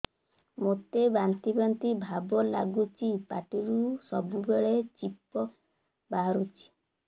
ମୋତେ ବାନ୍ତି ବାନ୍ତି ଭାବ ଲାଗୁଚି ପାଟିରୁ ସବୁ ବେଳେ ଛିପ ବାହାରୁଛି